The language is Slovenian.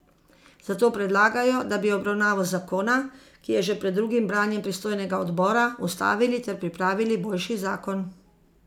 Zato predlagajo, da bi obravnavo zakona, ki je že pred drugim branjem pristojnega odbora, ustavili ter pripravili boljši zakon.